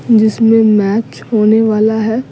जिसमें मैच होने वाला है --